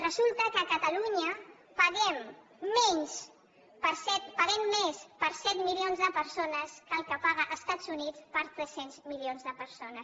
resulta que a catalunya paguem més per set milions de persones que el que paguen els estats units per tres cents milions de persones